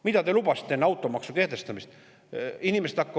Mida te lubasite enne automaksu kehtestamist?